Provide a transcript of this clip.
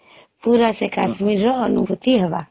ପୁରା ସେ କାଶ୍ମୀର ର ଅନୁଭୁତି ହେବା